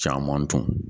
Caman dun